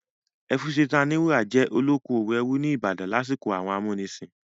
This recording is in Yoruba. Ẹfúnsetán Aníwúrà jẹ́ olókoòwò ẹrú ní ìbàdàn lásìkò àwọn amúnisìn.